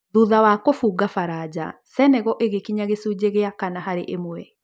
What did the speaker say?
Thutha wa kũbunga baranja, Senegal ĩgĩkinya gĩcunjĩ gĩa kana harĩ ĩmwe